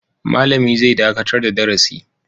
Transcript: Malami zai dakatar da darasi.